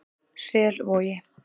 Selvogi